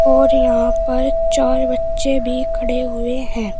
और यहां पर चार बच्चे भी खड़े हुए हैं।